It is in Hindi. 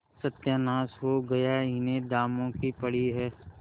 सत्यानाश हो गया इन्हें दामों की पड़ी है